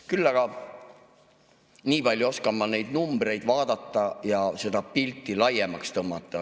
Küll aga nii palju oskan ma neid numbreid vaadata ja seda pilti laiemaks tõmmata.